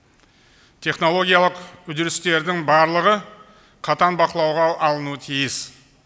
технологиялық үдерістердің барлығы қатаң бақылауға алынуы тиіс